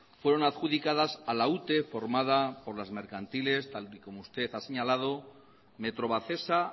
fueron adjudicadas a la ute formada por las mercantiles tal y como usted ha señalado metrovacesa